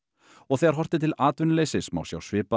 og þegar horft er til atvinnuleysis má sjá svipaða